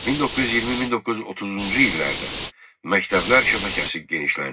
1920-1930-cu illərdə məktəblər şəbəkəsi genişləndi.